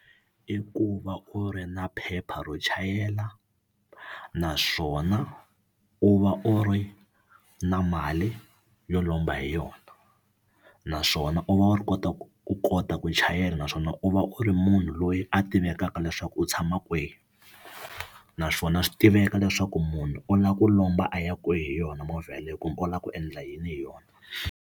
I ku va u ri na phepha ro chayela naswona u va u ri na mali yo lomba hi yona naswona u va u ri kota ku u kota ku chayela naswona u va u ri munhu loyi a tivekaka leswaku u tshama kwihi naswona swi tiveka leswaku munhu u lava ku lomba a ya kwihi hi yona movha yeleyo kumbe u lava ku endla yini hi yona.